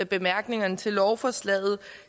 bemærkningerne til lovforslaget